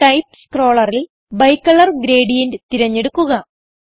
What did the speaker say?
type സ്ക്രോളറിൽ ബൈക്കലർ gradient തിരഞ്ഞെടുക്കുക